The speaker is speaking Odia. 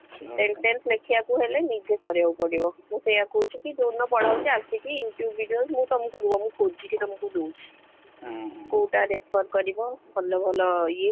Sentence ଲେଖିବାକୁ ହେଲେ ନିଜେ କରିବାକୁ ପଡିବ ମୁ ସେଇଆ କହୁଛି କି ଯୋଉ ଦିନ ପଢା ହଉଚି ଆସିକି YouTube videos ମୁଁ ତମକୁ ରୁହ ମୁଁ ଖୋଜିକି ତମକୁ ଦଉଚି କୋଉଟା prefer କରିବ ଭଲ ଭଲ ଇଏ